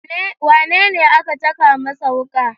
Wanene aka caka masa wuka?